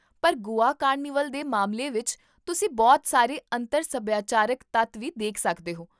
ਪਰ ਗੋਆ ਕਾਰਨੀਵਲ ਦੇ ਮਾਮਲੇ ਵਿੱਚ, ਤੁਸੀਂ ਬਹੁਤ ਸਾਰੇ ਅੰਤਰ ਸਭਿਆਚਾਰਕ ਤੱਤ ਵੀ ਦੇਖ ਸਕਦੇ ਹੋ